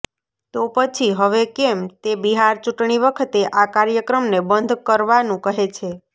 તો પછી હવે કેમ તે બિહાર ચૂંટણી વખતે આ કાર્યક્રમને બંધ કરાવાનું કહે છે